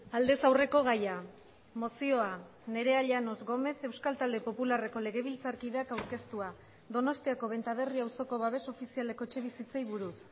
aldez aurreko gaia mozioa nerea llanos gómez euskal talde popularreko legebiltzarkideak aurkeztua donostiako benta berri auzoko babes ofizialeko etxebizitzei buruz